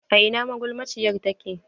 A ina magulmaciyar take?